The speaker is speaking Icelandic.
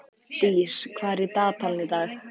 Dís, hvað er í dagatalinu í dag?